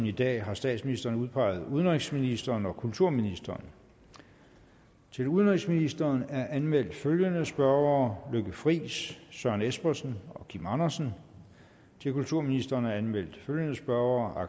i dag har statsministeren udpeget udenrigsministeren og kulturministeren til udenrigsministeren er anmeldt følgende spørgere lykke friis søren espersen kim andersen til kulturministeren er anmeldt følgende spørgere